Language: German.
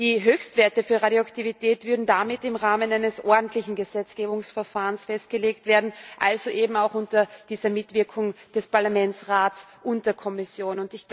Die Höchstwerte für Radioaktivität würden damit im Rahmen eines ordentlichen Gesetzgebungsverfahrens festgelegt werden, also eben auch unter dieser Mitwirkung von Parlament, Rat und Kommission.